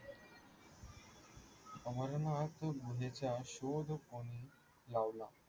अमरनाथ गुहेच्या शोध मोहीम लावला.